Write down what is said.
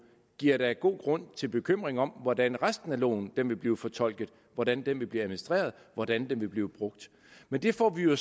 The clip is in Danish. giver da god grund til bekymring om hvordan resten af loven vil blive fortolket hvordan den vil blive administreret hvordan den vil blive brugt men det får vi jo